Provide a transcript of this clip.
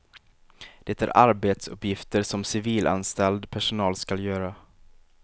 Det är arbetsuppgifter som civilanställd personal skall göra.